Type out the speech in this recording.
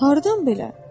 Hardan belə?